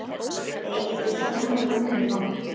Eigið þið sömu vinina?